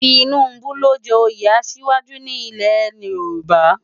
Tinubu ló n jè óyé àṣiwájú ni ilè Yoruba